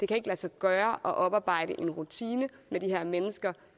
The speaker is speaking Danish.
kan lade sig gøre at oparbejde en rutine med de her mennesker